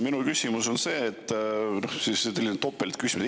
Minu küsimus on selline topeltküsimus.